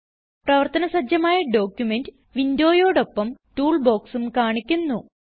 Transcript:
പ്രവർത്തന സജ്ജമായ ഡോക്യുമെന്റ് വിൻഡോയോടൊപ്പം Toolboxഉം കാണിക്കുന്നു